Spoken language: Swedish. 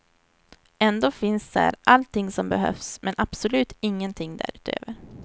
Ändå finns här allting som behövs, men absolut ingenting därutöver.